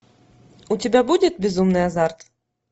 у тебя будет безумный азарт